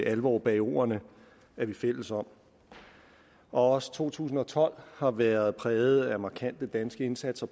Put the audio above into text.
alvor bag ordene er vi fælles om også to tusind og tolv har været præget af markante danske indsatser